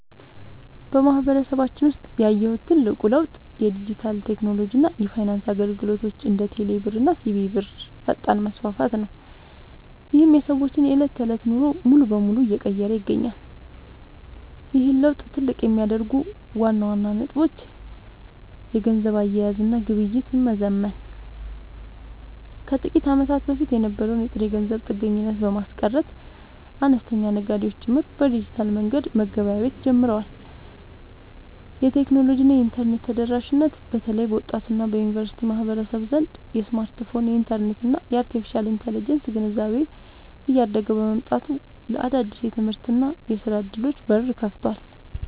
በማህበረሰባችን ውስጥ ያየሁት ትልቁ ለውጥ የዲጂታል ቴክኖሎጂ እና የፋይናንስ አገልግሎቶች (እንደ ቴሌብር እና ሲቢኢ ብር) ፈጣን መስፋፋት ነው፤ ይህም የሰዎችን የዕለት ተዕለት ኑሮ ሙሉ በሙሉ እየቀየረ ይገኛል። ይህን ለውጥ ትልቅ የሚያደርጉት ዋና ዋና ነጥቦች - የገንዘብ አያያዝ እና ግብይት መዘመን፦ ከጥቂት ዓመታት በፊት የነበረውን የጥሬ ገንዘብ ጥገኝነት በማስቀረት፣ አነስተኛ ነጋዴዎች ጭምር በዲጂታል መንገድ መገበያየት ጀምረዋል። የቴክኖሎጂ እና የኢንተርኔት ተደራሽነት፦ በተለይ በወጣቱ እና በዩኒቨርሲቲ ማህበረሰብ ዘንድ የስማርትፎን፣ የኢንተርኔት እና የአርቴፊሻል ኢንተለጀንስ (AI) ግንዛቤ እያደገ መምጣቱ ለአዳዲስ የትምህርትና የሥራ ዕድሎች በር ከፍቷል።